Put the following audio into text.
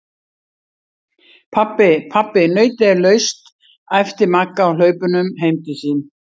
Pabbi, pabbi nautið er laust! æpti Magga á hlaupunum heim til sín.